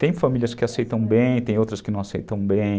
Tem famílias que aceitam bem, tem outras que não aceitam bem.